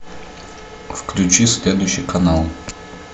включи следующий канал